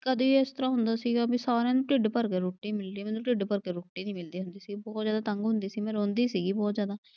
ਕਦੇ ਇਸ ਤਰ੍ਹਾਂ ਹੁੰਦਾ ਸੀਗਾ ਵੀ ਸਾਰਿਆਂ ਨੂੰ ਢਿੱਡ ਭਰ ਕੇ ਰੋਟੀ ਮਿਲਦੀ ਆ। ਮੈਨੂੰ ਢਿੱਡ ਭਰਕੇ ਰੋਟੀ ਨਈਂ ਮਿਲਦੀ ਹੁੰਦੀ ਸੀ, ਬਹੁਤ ਜਿਆਦਾ ਤੰਗ ਹੁੰਦੀ ਸੀ ਮੈਂ ਰੋਂਦੀ ਸੀਗੀ ਬਹੁਤ ਜਿਆਦਾ।